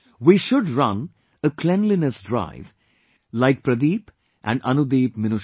We should run a cleanliness drive like Pradeep and AnudeepMinusha